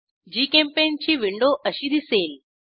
GChemPaint ची window अशी दिसेल